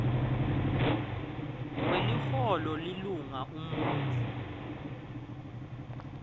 weliholo lilunga umuntfu